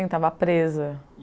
estava presa.